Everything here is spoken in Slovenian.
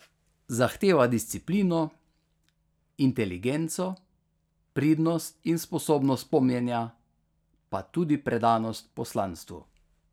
Zahteva disciplino, inteligenco, pridnost in sposobnost pomnjenja, pa tudi predanost poslanstvu.